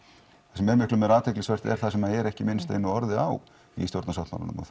það sem er meira athyglisvert er það sem er ekki minnst einu orði á í stjórnarsáttmálanum og